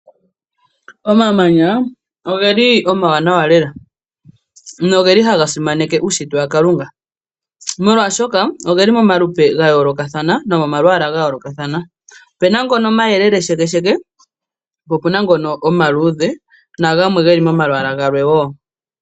Omamanya ogeli omawanawa lela no geli hagasimaneke uushitwe waKalunga molwashoka ogeli momalupe gayoolokathana nomomalwaala gayoolokathana. Opuna ngono omayelele shekesheke, po opuna ngono omaluudhe nagamwe geli momalwaala galwe wo.